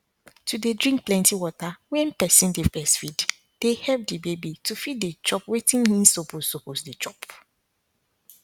to dey drink plenty water wen person dey breastfeed dey help the baby to fit dey chop wetin hin suppose suppose dey chop